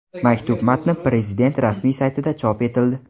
Maktub matni Prezident rasmiy saytida chop etildi .